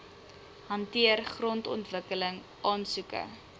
hanteer grondontwikkeling aansoeke